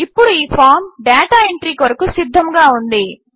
ఇప్పుడు ఈ form data entry కొరకు సిద్ధముగా ఉంది